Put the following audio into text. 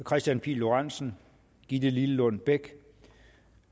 kristian pihl lorentzen gitte lillelund bech